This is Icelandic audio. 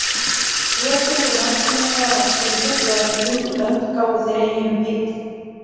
Rétt eins og landkönnuða var siður þegar þeir fundu lönd gáfu þeir eyjunum heiti.